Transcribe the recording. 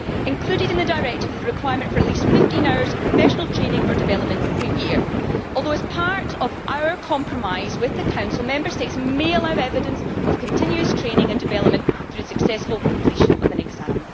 Included in the directive is a requirement for at least 15 hours of professional training or development per year, although as part of our compromise with the Council, Member States may allow evidence of continuous training and development through successful completion of an exam.